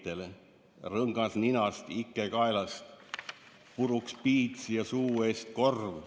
/ Rõngas ninast, ike kaelast, / puruks piits ja suu eest korv.